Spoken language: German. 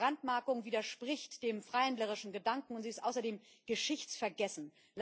Diese Brandmarkung widerspricht dem freihändlerischen Gedanken und ist außerdem geschichtsvergessen.